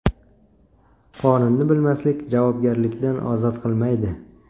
Qonunni bilmaslik javobgarlikdan ozod qilmaydi.